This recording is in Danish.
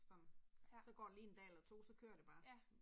Sådan. Så går der lige en dag eller 2, så kører det bare